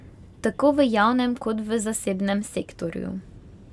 Tako v javnem, kot v zasebnem sektorju.